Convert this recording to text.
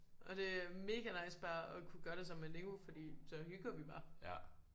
Og det er mega nice bare at kunne gøre det sammen med Nico fordi så hygger vi bare